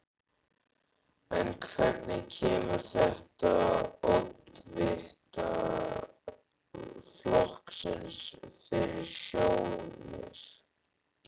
En hvernig kemur þetta oddvita flokksins fyrir sjónir?